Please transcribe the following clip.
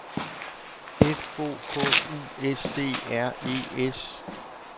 F O K U S E R E S